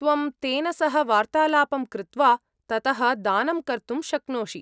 त्वं तेन सह वार्तालापं कृत्वा ततः दानं कर्तुं शक्नोषि।